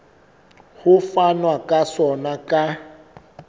ho fanwa ka sona ka